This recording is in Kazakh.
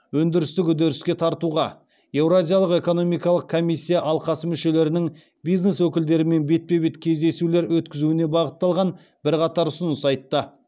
өндірістік үдеріске тартуға еуразиялық экономикалық комиссия алқасы мүшелерінің бизнес өкілдерімен бетпе бет кездесулер өткізуіне бағытталған бірқатар ұсыныс айтты